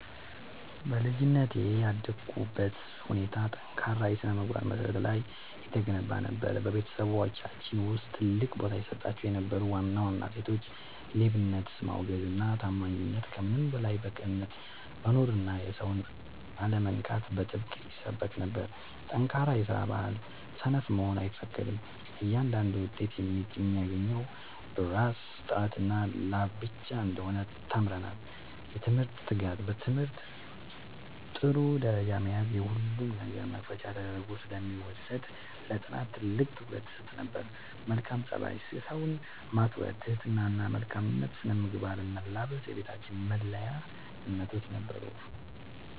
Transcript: በልጅነቴ ያደግኩበት ሁኔታ በጠንካራ የሥነ-ምግባር መሠረት ላይ የተገነባ ነበር። በቤተሰባችን ውስጥ ትልቅ ቦታ ይሰጣቸው የነበሩ ዋና ዋና እሴቶች፦ ሌብነትን ማውገዝና ታማኝነት፦ ከምንም በላይ በቅንነት መኖርና የሰውን አለመንካት በጥብቅ ይሰበክ ነበር። ጠንካራ የስራ ባህል፦ ሰነፍ መሆን አይፈቀድም፤ እያንዳንዱ ውጤት የሚገኘው በራስ ጥረትና ላብ ብቻ እንደሆነ ተምረናል። የትምህርት ትጋት፦ በትምህርት ጥሩ ደረጃ መያዝ የሁሉም ነገር መክፈቻ ተደርጎ ስለሚወሰድ ለጥናት ትልቅ ትኩረት ይሰጥ ነበር። መልካም ፀባይ፦ ሰውን ማክበር፣ ትህትና እና መልካም ስነ-ምግባርን መላበስ የቤታችን መለያ እምነቶች ነበሩ።